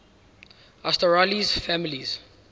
asterales families